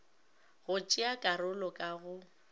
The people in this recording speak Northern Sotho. go tšea karolo ka go